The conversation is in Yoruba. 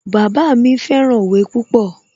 Bàbá mi fẹ́ràn òwe púpọ̀